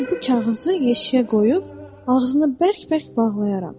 Sonra bu kağızı yeşiyə qoyub ağzını bərk-bərk bağlayaram.